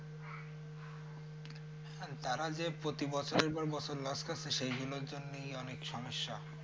তারা যে প্রতি বছরের পর বছর loss খাচ্ছে সেইগুলোর জন্যই অনেক সমস্যা।